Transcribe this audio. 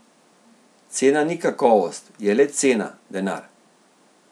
Cena ni kakovost, je le cena, denar.